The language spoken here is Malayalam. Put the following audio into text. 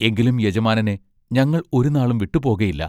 എങ്കിലും യജമാനനെ ഞങ്ങൾ ഒരുനാളും വിട്ടുപോകയില്ലാ.